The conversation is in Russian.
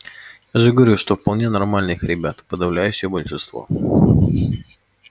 я же говорю что вполне нормальных ребят подавляющее большинство